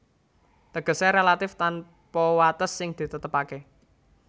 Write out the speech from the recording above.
Tegesé relatif tanpa wates sing ditetepaké